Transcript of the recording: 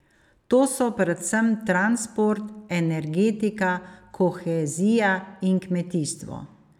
To so predvsem transport, energetika, kohezija in kmetijstvo.